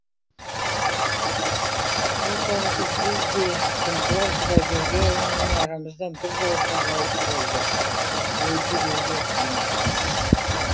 сол тәрізді біз де күнтуар құдайбергенұлы арамыздан біржолата ғайып болды өлді деуге қимаймыз